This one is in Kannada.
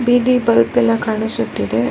ಬೀದಿ ಬಲ್ಪ್ ಎಲ್ಲ ಕಾಣಿಸುತ್ತಿದೆ.